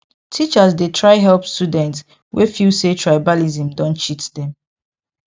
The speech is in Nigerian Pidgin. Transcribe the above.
teachers dey try help students wey feel say tribalism don cheat dem